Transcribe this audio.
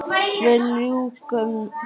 Við ljúkum honum.